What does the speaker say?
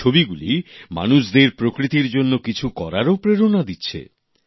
এই ছবিগুলি মানুষদের প্রকৃতির জন্য কিছু করারও প্রেরণা দিচ্ছে